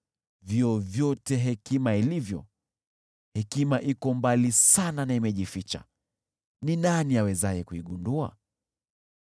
Vyovyote hekima ilivyo, hekima iko mbali sana na imejificha, ni nani awezaye kuigundua?